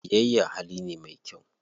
Biyayya hali ne me kyau.